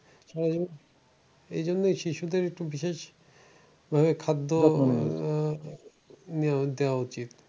সারাজীবন এই জন্যে শিশুদের একটু বিশেষ ভাবে খাদ্য আহ নিয়মিত দেওয়া উচিত।